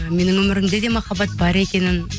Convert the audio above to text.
ы менің өмірімде де махаббат бар екенін